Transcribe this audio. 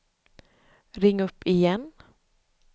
ring upp igen